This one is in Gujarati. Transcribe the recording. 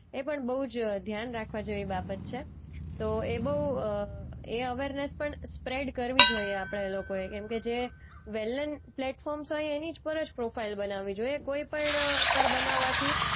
એ પણ બોઉ જ ધ્યાન રાખવા જેવી બાબત છે. તો એ બોઉ અ એ અવેરનેસ પણ સ્પ્રેડ કરવી જોઈએ આપણા લોકોએ કેમકે જે વેલેન પ્લેટફોર્મ્સ હોય એની જ પર જ પ્રોફાઈલ બનાવી જોઈએ. કોઈ પણ પર બનાવાથી